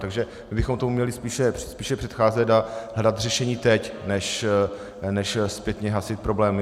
Takže my bychom tomu měli spíše předcházet a hledat řešení teď než zpětně hasit problémy.